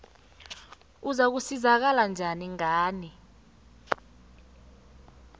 uzakusizakala njani ngani